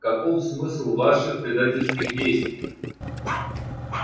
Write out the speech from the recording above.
каков смысл ваших предательских действий